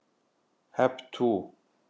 Hep tú!